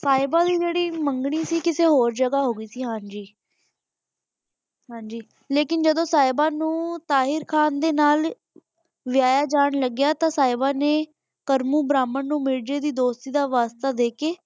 ਸਾਹਿਬਾ ਦੀ ਜਿਹੜੀ ਮੰਗਣੀ ਸੀਗੀ ਓ ਕਿਸੀ ਹੋਰ ਜਗਾ ਹੋ ਗਈ ਸੀ ਹਾਂਜੀ ਹਾਂਜੀ ਲੇਕਿਨ ਜਦੋ ਸਾਹਿਬਾ ਨੂੰ ਤਾਹਿਰ ਖਾਨ ਦੇ ਨਾਲ ਵਿਆਹਿਆ ਜਾਣ ਲੱਗਿਆ ਤੇ ਸਾਹਿਬਾ ਨੇ ਬ੍ਰਾਹਮਣ ਨੂੰ ਮਿਰਜੇ ਦੀ ਦੋਸਤੀ ਦਾ ਵਾਅਦਾ ਦੇ ਕੇ।